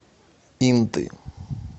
инты